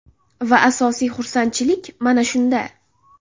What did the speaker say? Va asosiy xursandchilik mana shunda.